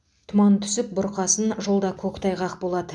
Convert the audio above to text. тұман түсіп бұрқасын жолда көктайғақ болады